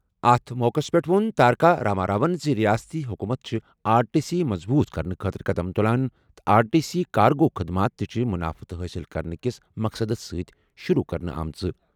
اَتھ موقعَس پٮ۪ٹھ ووٚن تارکا راما راون زِ رِیاستی حکوٗمت چھِ آر ٹی سی مضبوٗط کرنہٕ خٲطرٕ قدم تُلان تہٕ آر ٹی سی کارگو خٔدمات تہِ چھِ منافعہٕ حٲصِل کرنہٕ کِس مقصدَس سۭتۍ شروٗع کرنہٕ آمٕژ۔